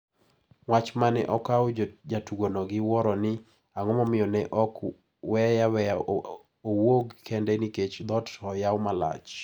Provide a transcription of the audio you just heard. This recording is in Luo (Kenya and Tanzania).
Wach mane okawo jatugono gi wuoro ni ang`omomiyo ne ok weye aweya owuog kende nikech dhoot to oyaw malach.